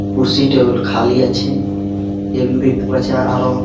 কুরসি table খালি আছে আরো --